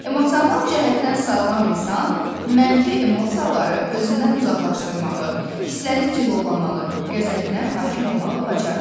Emosional cəhətdən sağlam insan mənfi emosiyaları özündən uzaqlaşdırmağı, hisslərini cilovlamağı, qəzəbinə hakim olmağı bacarır.